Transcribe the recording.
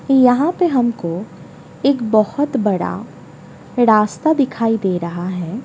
यहां पे हमको एक बहुत बड़ा रास्ता दिखाई दे रहा है।